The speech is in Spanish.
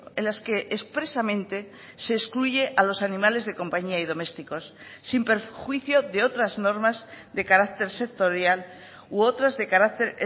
en las que expresamente se excluye a los animales de compañía y domésticos sin perjuicio de otras normas de carácter sectorial u otras de carácter